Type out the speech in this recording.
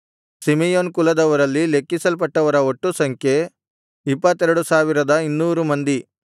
Simeon ಕುಲದವರಲ್ಲಿ ಲೆಕ್ಕಿಸಲ್ಪಟ್ಟವರ ಒಟ್ಟು ಸಂಖ್ಯೆ 22200 ಮಂದಿ